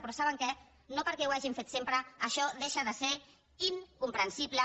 però saben què no perquè ho hagin fet sempre això deixa de ser incomprensible